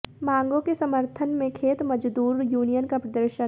मांगों के समर्थन में खेत मजदूर यूनियन का प्रदर्शन